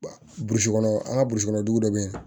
Burusi kɔnɔ an ka burusi kɔnɔ dugu dɔ bɛ yen